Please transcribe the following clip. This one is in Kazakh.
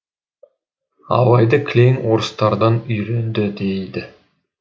абайды кілең орыстардан үйренді дейді